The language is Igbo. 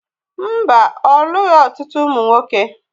Mbá, olụghi ọtụtụ ụmụ nwoke